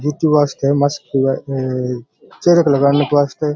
जेति वास्ते मस्त हुये ये ये चहरे पे लगाने के वास्ते।